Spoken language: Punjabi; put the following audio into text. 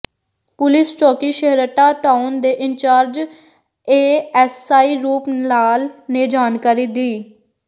ਪੁਲਿਸ ਚੌਕੀ ਛੇਹਰਟਾ ਟਾਊਨ ਦੇ ਇੰਚਾਰਜ ਏਐੱਸਆਈ ਰੂਪ ਲਾਲ ਨੇ ਜਾਣਕਾਰੀ ਦਿੰ